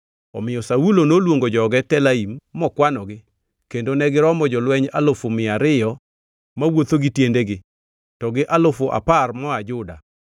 Omiyo Saulo noluongo joge Telaim mokwanogi kendo negiromo jolweny alufu mia ariyo mawuotho gi tiendegi to gi alufu apar moa Juda.